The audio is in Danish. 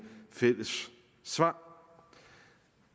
fælles svar